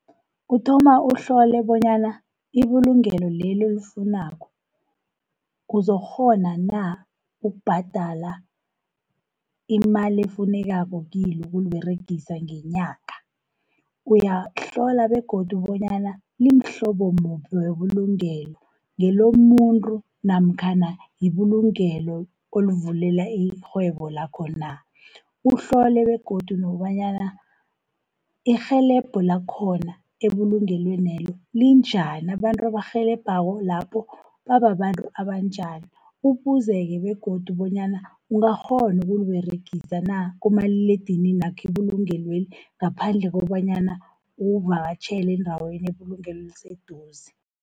Uthoma uhlole bonyana ibulungelo leli, olifunako uzokghona na ukubhadala imali efunekako kilo ukuliberegisa ngenyanga. Uyahlola begodu bonyana limhlobo muphi webulungelo, ngelomuntu namkhana yibulungelo olivulela irhwebo lakho na. Uhlole begodu nokobanyana irhelebho lakhona ebulungelwenelo linjani, abantu abarhelebhako lapho babantu abanjani. Ubuze-ke begodu bonyana ungakghona ukuliberegisa na, kumaliledininakho ibulungelweli ngaphandle kokobanyana uvakatjhele endaweni, ibulungelo eliseduze.